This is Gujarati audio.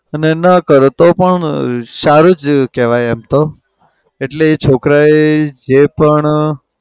અને ન કરો તો પણ સારું જ કેવાય એમ તો. એટલે છોકરાએ જે પણ